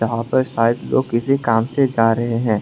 यहां पर शायद लोग किसी काम से जा रहे हैं।